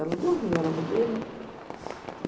Ela dormiu, era uma bebê, né?